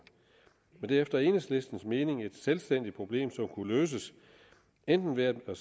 men det er efter enhedslistens mening et selvstændigt problem som kunne løses enten ved at der